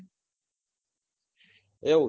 એવું છે?